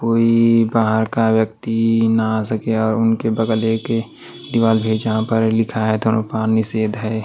कोई बाहर का व्यक्ति ना आ सके और उनके बगल एक दीवार में जहां पर लिखा है दोनों धूम्रपान निषेध है।